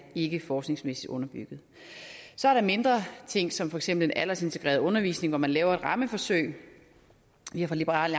ikke er forskningsmæssigt underbygget så er der mindre ting som for eksempel den aldersintegrerede undervisning hvor man laver et rammeforsøg vi har fra liberal